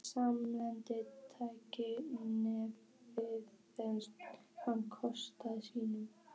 Í almennu tali nefnist hann kolsýra.